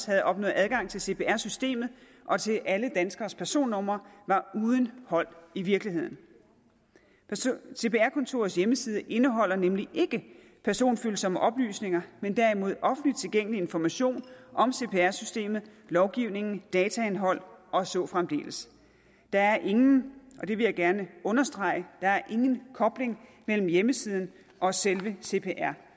havde opnået adgang til cpr systemet og til alle danskeres personnummer var uden hold i virkeligheden cpr kontorets hjemmeside indeholder nemlig ikke personfølsomme oplysninger men derimod offentligt tilgængelig information om cpr systemet lovgivningen dataindhold og så fremdeles der er ingen og det vil jeg gerne understrege kobling mellem hjemmesiden og selve cpr